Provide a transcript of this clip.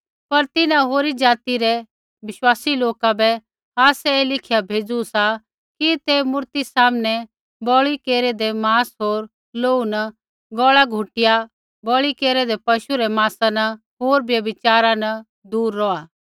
पर तिन्हां होरी ज़ाति रै विश्वासी लोका बै आसै ऐ लिखिया भेज़ू सा कि ते मूरती सामनै बलि केरेदै माँस होर लोहू न गौल़ा घुटिया बलि केरूऐदै पशु रै माँसा न होर व्यभिचारा न दूर रौहा